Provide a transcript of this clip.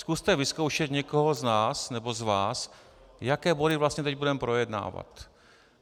Zkuste vyzkoušet někoho z nás nebo z vás, jaké body vlastně teď budeme projednávat.